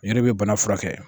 E de bɛ bana furakɛ